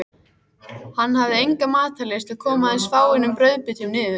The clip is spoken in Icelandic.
Hann hafði enga matarlyst og kom aðeins fáeinum brauðbitum niður.